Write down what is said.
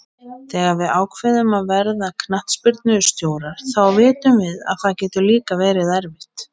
Þegar við ákveðum að verða knattspyrnustjórar þá vitum við að það getur líka verið erfitt.